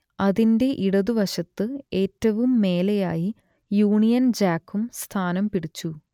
അതിന്റെ ഇടതുവശത്തു ഏറ്റവും മേലെയായി യൂണിയൻ ജാക്കും സ്ഥാനം പിടിച്ചു